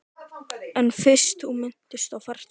En fyrst þú minntist á fartölvu.